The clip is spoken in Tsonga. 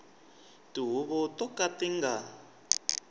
tihuvo to ka ti nga